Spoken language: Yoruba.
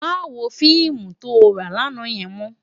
Má wó fiimú tó rá làná yèn mò